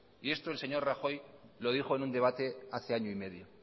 y esto el señor rajoy lo dijo en un debate hace año y medio